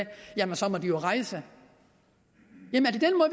jamen så må de jo rejse